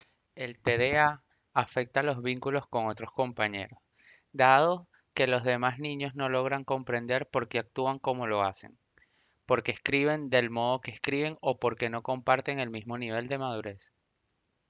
el tda afecta los vínculos con otros compañeros dado que los demás niños no logran comprender por qué actúan como lo hacen por qué escriben del modo en que escriben o por qué no comparten el mismo nivel de madurez